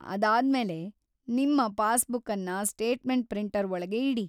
ಅದಾದ್ಮೇಲೆ ನಿಮ್ಮ ಪಾಸ್‌ಬುಕ್ಕನ್ನ ಸ್ಟೇಟ್‌ಮೆಂಟ್‌ ಪ್ರಿಂಟರ್‌ ಒಳಗೆ ಇಡಿ.